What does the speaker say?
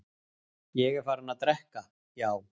Ég er farinn að drekka, já.